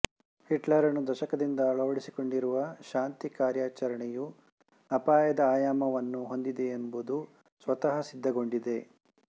ಹಿಟ್ಲರನು ದಶಕದಿಂದ ಅಳವಡಿಸಿಕೊಂಡಿರುವ್ ಶಾಂತಿ ಕಾರ್ಯಾಚರಣೆಯು ಅಪಾಯದ ಆಯಾಮವನ್ನು ಹೊಂದಿದೆಯೆಂಬುದು ಸ್ವತಃಸಿದ್ಧಗೊಂಡಿದೆ